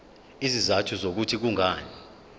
izizathu zokuthi kungani